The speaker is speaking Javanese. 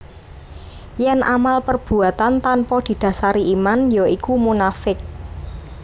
Yen amal perbuatan tanpa didasari iman ya iku munafiq